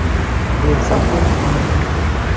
Bo‘lsa ham tanimayman.